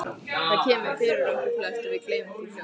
Það kemur fyrir okkur flest og við gleymum því fljótt.